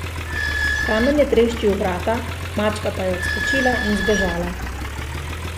Kamen je treščil v vrata, mačka pa je odskočila in zbežala.